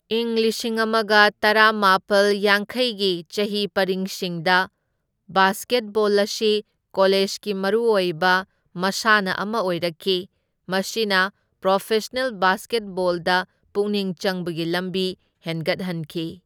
ꯏꯪ ꯂꯤꯁꯤꯡ ꯑꯃꯒ ꯇꯔꯥꯃꯥꯄꯜ ꯌꯥꯡꯈꯩꯒꯤ ꯆꯍꯤ ꯄꯔꯤꯡꯁꯤꯡꯗ ꯕꯥꯁꯀꯦꯠꯕꯣꯜ ꯑꯁꯤ ꯀꯣꯂꯦꯖꯒꯤ ꯃꯔꯨꯑꯣꯏꯕ ꯃꯁꯥꯅ ꯑꯃ ꯑꯣꯏꯔꯛꯈꯤ, ꯃꯁꯤꯅ ꯄ꯭ꯔꯣꯐꯦꯁꯅꯦꯜ ꯕꯥꯁꯀꯦꯠꯕꯣꯜꯗ ꯄꯨꯛꯅꯤꯡ ꯆꯪꯕꯒꯤ ꯂꯝꯕꯤ ꯍꯦꯟꯒꯠꯍꯟꯈꯤ꯫